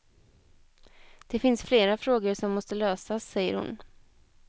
Det finns flera frågor som måste lösas, säger hon.